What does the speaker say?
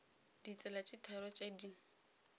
ditsela tše tharo tše di